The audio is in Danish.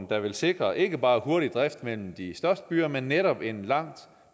der vil sikre ikke bare hurtig drift mellem de største byer men netop en langt